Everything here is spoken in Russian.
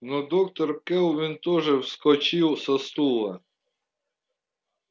но доктор кэлвин тоже вскочил со стула